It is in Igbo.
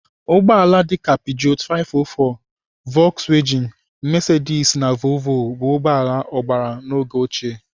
Ụgbọala dịka pijoot 504, vokswejin, mesedis na voovoo bụ ụgbọala agbara n'oge ochie.